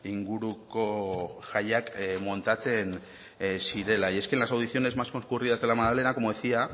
inguruko jaiak montatzen zirela y es que en las ediciones más concurridas de la magdalena como decía